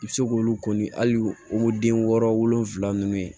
I bɛ se k'olu kɔni hali den wɔɔrɔ wolonfula ninnu ye